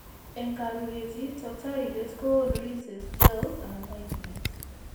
En karuriet, toktooriintet koonu rinses, gels, anan ointments.